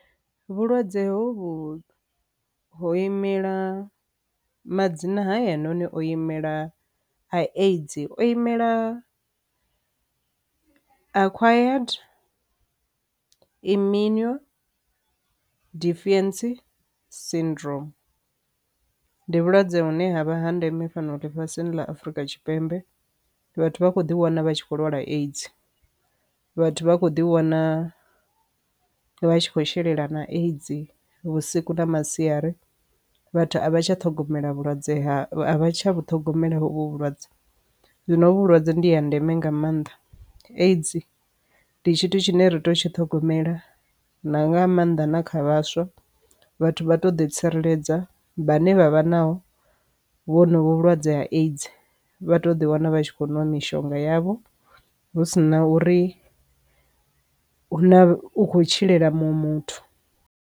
Vhulwadze hovhu ho imela madzina hayani o imela aids o imela acquired immune deficiency syndrome. Ndi vhulwadze vhune ha vha ha ndeme fhano ḽifhasini ḽa Afrika Tshipembe vhathu vha kho ḓi wana vha tshi kho lwala aids vhathu vha kho ḓi wana vha tshi kho shelela na aids vhusiku na masiari. Vhathu a vha tsha ṱhogomela vhulwadze vhu ṱhogomela vhulwadze zwino vhulwadze ndi ya ndeme nga maanḓa ndi tshithu tshine ri tea u tshi ṱhogomela na nga maanḓa na kha vhaswa vhathu vha to ḓi tsireledza vhane vhavha naho vhonovhu vhulwadze ha aids vha to ḓi wana vha tshi khou nwa mishonga yavho hu si na uri hu na u kho tshilela munwe muthu.